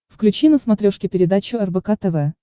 включи на смотрешке передачу рбк тв